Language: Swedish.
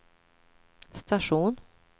station